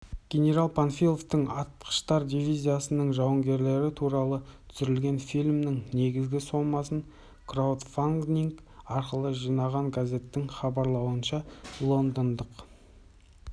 генерал панфиловтың атқыштар дивизиясының жауынгері туралы түсірілген фильмнің негізгі сомасын краудфандинг арқылы жинаған газеттің хабарауынша лондондық